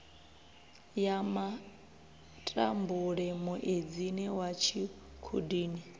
ya matambule muedzini wa tshikhudini